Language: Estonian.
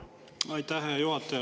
Aitäh, hea juhataja!